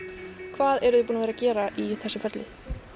hvað eruð þið búin að gera í þessu ferli